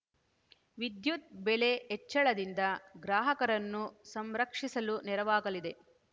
ವಿದ್ಯುತ್‌ ಬೆಲೆ ಹೆಚ್ಚಳದಿಂದ ಗ್ರಾಹಕರನ್ನು ಸಂರಕ್ಷಿಸಲು ನೆರವಾಗಲಿದೆ